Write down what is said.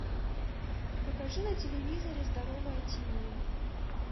покажи на телевизоре здоровое тиви